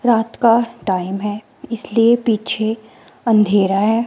रात का टाइम है इसलिए पीछे अंधेरा है।